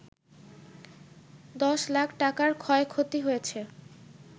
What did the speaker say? ১০ লাখ টাকার ক্ষয়ক্ষতি হয়েছে